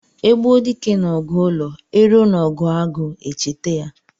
E gbuo dike n'ọgụ ụlọ, e ruo n'ọgụ agụ echeta ya.